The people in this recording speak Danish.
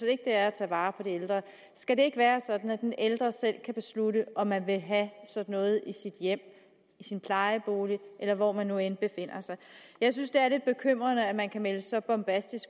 ikke det er at tage vare på de ældre skal det ikke være sådan at den ældre selv kan beslutte om vedkommende vil have sådan noget i sit hjem i sin plejebolig eller hvor man nu end befinder sig jeg synes det er lidt bekymrende at man kan komme med en så bombastisk